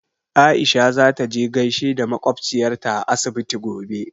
Aisha za ta je gaishe da makwabciyarta a asibiti gobe.